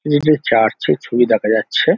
এটি একটি চার্চ -এর ছবি দেখা যাচ্ছে।